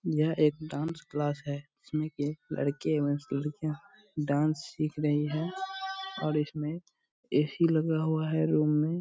यह एक dance class है जिसमे की एक लड़के एवं लड़कियां डान्स सिख रही है और इसमें ए.सी. लगा हुआ है रूम में।